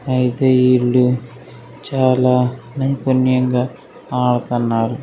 అయితే ఇల్లు చాలా పుణ్యంగా అడుతన్నారు.